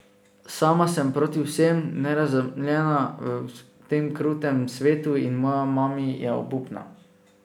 Sama sem proti vsem, nerazumljena v tem krutem svetu in moja mami je obupna ...